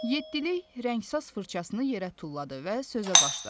Yeddilik rəngsaz fırçasını yerə tulladı və sözə başladı.